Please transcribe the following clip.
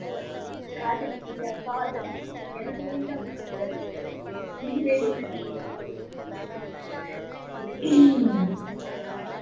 ஓ காதலிக்கிறயா காதலா எனக்கு வேண்டாம் but நீ வேண்டுமென்றால் வைத்துக்கொள் காதல்